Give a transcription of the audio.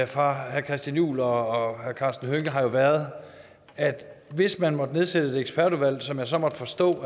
fra herre christian juhl og herre karsten hønge har jo været at hvis man måtte nedsætte et ekspertudvalg som jeg så måtte forstå